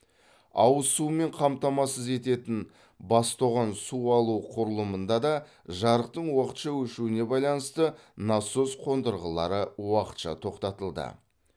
ауыз сумен қамтамасыз ететін бас тоған су алу құрылымында да жарықтың уақытша өшуіне байланысты насос қондырғылары уақытша тоқтатылды